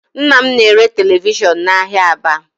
Nna m na-ere televishọn n'ahịa Aba